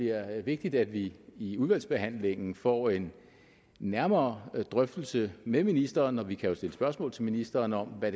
er vigtigt at vi i udvalgsbehandlingen får en nærmere drøftelse med ministeren om vi jo stille spørgsmål til ministeren om hvad